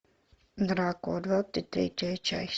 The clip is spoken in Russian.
дракула двадцать третья часть